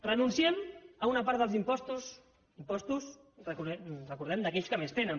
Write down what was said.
renunciem a una part dels impostos a impostos recordem d’aquells que més tenen